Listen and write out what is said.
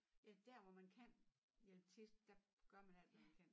Ja dér hvor man kan hjælpe til der gør man alt hvad man kan